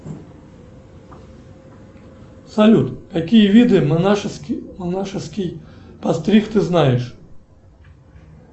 салют какие виды монашеских постриг ты знаешь